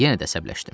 Yenə də əsəbləşdim.